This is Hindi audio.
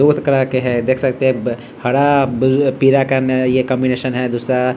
कलर के है देख सकते है हरा पीला का ये कोम्बिनेशन है दूसरा --